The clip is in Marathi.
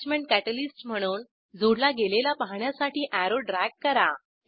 अॅटॅचमेंट कॅटलिस्ट म्हणून जोडला गेलेला पाहण्यासाठी अॅरो ड्रॅग करा